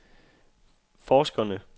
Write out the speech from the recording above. forskerne